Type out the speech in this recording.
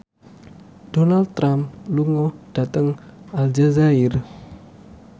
Donald Trump lunga dhateng Aljazair